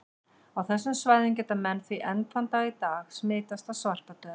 Á þessum svæðum geta menn því enn þann dag í dag smitast af svartadauða.